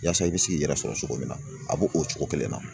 Yaasa i bɛ se k'i yɛrɛ sɔrɔ cogo min na a b'o o cogo kelen na.